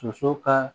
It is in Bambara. Soso ka